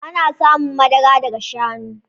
Ana samun madara daga shanu